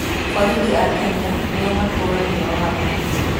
Borithi a Kenya nĩo matũũragia watho.